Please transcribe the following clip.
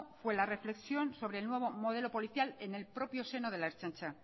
fue la reflexión sobre el nuevo modelo policial en el propio seno de la ertzaintza